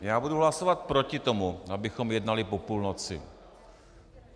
Já budu hlasovat proti tomu, abychom jednali po půlnoci.